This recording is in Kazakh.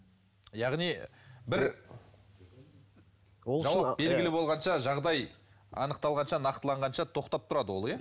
яғни бір белгілі болғанша жағдай анықталғанша нақтыланғанша тоқтап тұрады ол иә